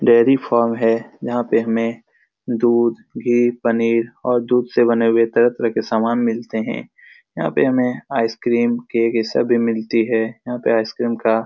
dairy farm है यहाँ पे हमे दूध घी पनीर और दूध से बने हुए तरह-तरह के सामान मिलते है यहाँ पे हमे आइसक्रीम केक ये सभी मिलती है यहाँ पे आइसक्रीम का --